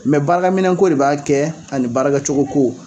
Mɛ baarakɛminɛnko de b'a kɛ ani baarakɛcogoko